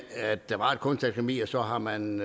at der var et kunstakademi og så har man